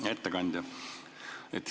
Hea ettekandja!